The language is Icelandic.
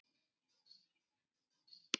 Þetta er miður.